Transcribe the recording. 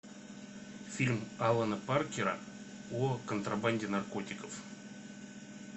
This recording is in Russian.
фильм алана паркера о контрабанде наркотиков